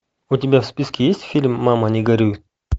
у тебя в списке есть фильм мама не горюй